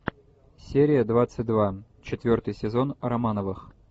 серия двадцать два четвертый сезон романовых